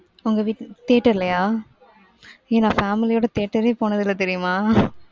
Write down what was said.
உங்க வீடு theater லையா ஏ நான் family ஓட theater ரே போனது இல்ல தெரியுமா ?